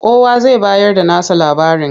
Kowa zai bayarda nasa labarin.